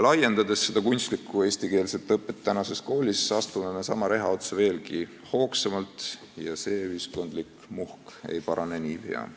Laiendades kunstlikku eestikeelset õpet tänases koolis, astume me sama reha otsa veelgi hoogsamalt, ja see ühiskondlik muhk ei parane niipea.